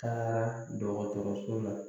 Taara dɔgɔtɔrɔso la